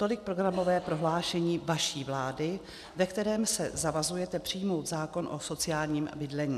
- Tolik programové prohlášení vaší vlády, ve kterém se zavazujete přijmout zákon o sociálním bydlení.